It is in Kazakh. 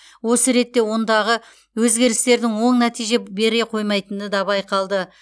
осы ретте ондағы өзгерістердің оң нәтиже бере қоймайтыны да байқалды